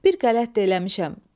Bir qələt də eləmişəm.